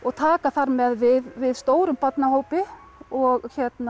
taka þar með við við stórum barnahópi og